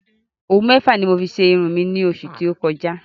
Òwú mẹ́fà ni mo fi ṣe irun ní oṣù tí o kọjá